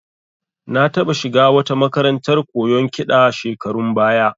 Na taɓa shiga wata makarantar koyon kiɗa shekarun baya